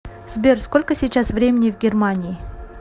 сбер сколько сейчас времени в германии